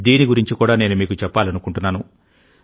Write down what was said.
దీని గురించి కూడా నేను మీకు చెప్పాలనుకుంటున్నాను